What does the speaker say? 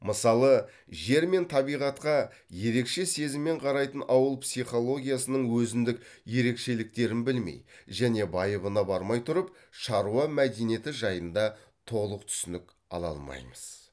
мысалы жер мен табиғатқа ерекше сезіммен қарайтын ауыл психологиясының өзіндік ерекшеліктерін білмей және байыбына бармай тұрып шаруа мәдениеті жайында толық түсінік ала алмаймыз